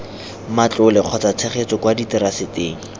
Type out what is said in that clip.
matlole kgotsa tshegetso kwa diteraseteng